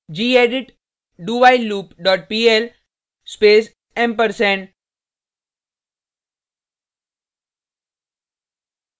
gedit dowhileloop dot pl space ampersand